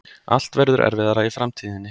Allt verður erfiðara í framtíðinni.